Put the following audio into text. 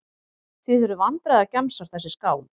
Þið eruð vandræðagemsar þessi skáld.